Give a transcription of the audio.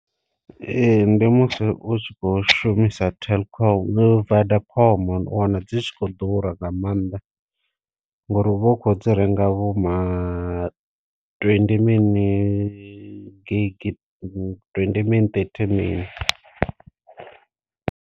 Ee ndi musi u tshi kho shumisa telkom [?vodacom u wana dzi kho ḓura nga maanḓa, ngori uvha u kho dzi renga vho ma twendi mini gigi twendi min ṱethi mini.